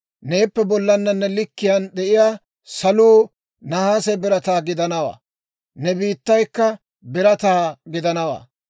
Neeppe bollana ne likkiyaan de'iyaa saluu nahaase birataa gidanawaa; ne biittaykka birataa gidanawaa.